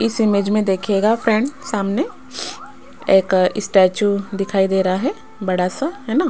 इस इमेज में देखिएगा फ्रेंड सामने एक स्टैचू दिखाई दे रहा है बड़ा सा है ना।